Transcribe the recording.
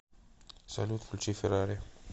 салют включи феррари